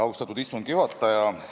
Austatud istungi juhataja!